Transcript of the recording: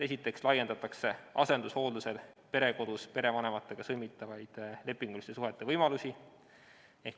Esiteks laiendatakse asendushooldusel perekodus perevanematega sõlmitavaid lepinguliste suhete võimalusi.